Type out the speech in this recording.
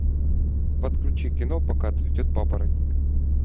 подключи кино пока цветет папоротник